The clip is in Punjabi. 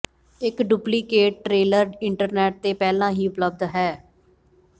ਇੱਕ ਡੁਪਲੀਕੇਟ ਟ੍ਰੇਲਰ ਇੰਟਰਨੈਟ ਤੇ ਪਹਿਲਾਂ ਹੀ ਉਪਲਬਧ ਹੈ